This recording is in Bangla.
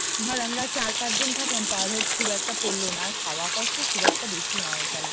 ধর আমরা চার পাঁচ জন থাকলাম পার হেড খুব একটা পড়ল না আর খাওয়া খরচা খুব একটা বেশি না ওখানে